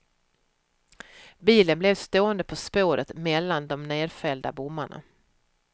Bilen blev stående på spåret mellan de nedfällda bommarna.